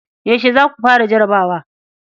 Yaushe za ku fara jarabawa?